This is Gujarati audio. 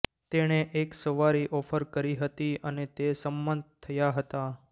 તેણે એક સવારી ઓફર કરી હતી અને તે સંમત થયા હતા